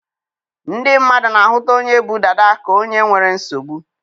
Ndị mmadụ na-ahụta onye bu dada ka onye nwere nsogbu